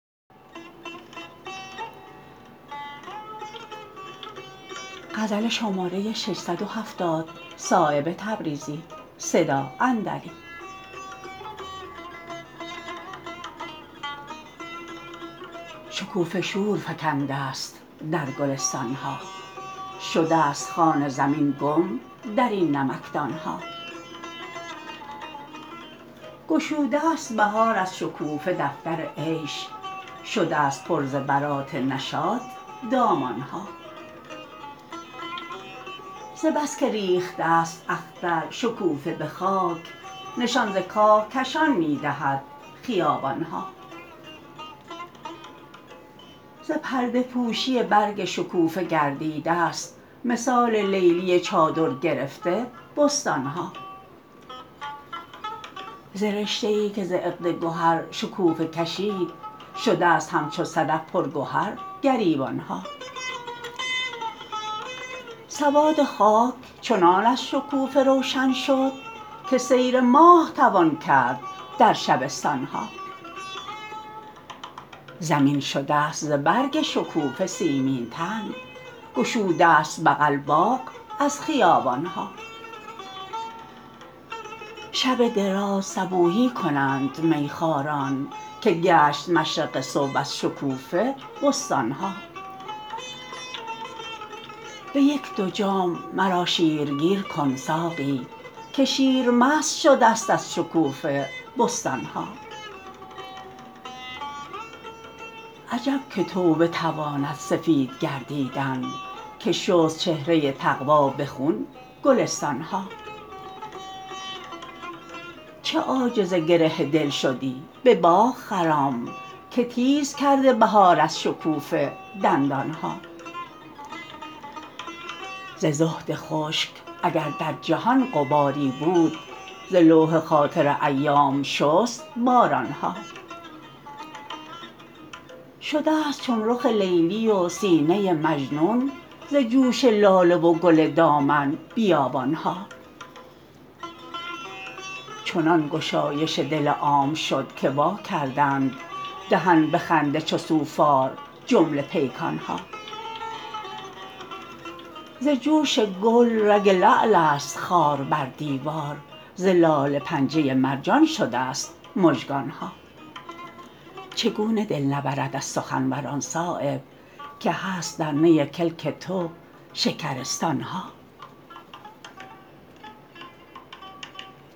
شکوفه شور فکنده است در گلستان ها شده است خوان زمین گم درین نمکدان ها گشوده است بهار از شکوفه دفتر عیش شده است پر ز برات نشاط دامان ها ز بس که ریخته است اختر شکوفه به خاک نشان ز کاهکشان می دهد خیابان ها ز پرده پوشی برگ شکوفه گردیده است مثال لیلی چادر گرفته بستان ها ز رشته ای که ز عقد گهر شکوفه کشید شده است همچو صدف پر گهر گریبان ها سواد خاک چنان از شکوفه روشن شد که سیر ماه توان کرد در شبستان ها زمین شده است ز برگ شکوفه سیمین تن گشوده است بغل باغ از خیابان ها شب دراز صبوحی کنند میخواران که گشت مشرق صبح از شکوفه بستان ها به یک دو جام مرا شیر گیر کن ساقی که شیر مست شده است از شکوفه بستان ها عجب که توبه تواند سفید گردیدن که شست چهره تقوی به خون گلستان ها چه عاجز گره دل شدی به باغ خرام که تیز کرده بهار از شکوفه دندان ها ز زهد خشک اگر در جهان غباری بود ز لوح خاطر ایام شست باران ها شده است چون رخ لیلی و سینه مجنون ز جوش لاله و گل دامن بیابان ها چنان گشایش دل عام شد که وا کردند دهن به خنده چو سوفار جمله پیکان ها ز جوش گل رگ لعل است خار بر دیوار ز لاله پنجه مرجان شده است مژگان ها چگونه دل نبرد از سخنوران صایب که هست در نی کلک تو شکرستان ها